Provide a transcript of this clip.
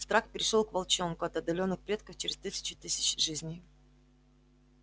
страх перешёл к волчонку от отдалённых предков через тысячу тысяч жизней